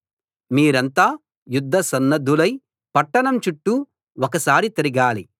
మీరంతా యుద్ధసన్నద్ధులై పట్టణం చుట్టూ ఒకసారి తిరగాలి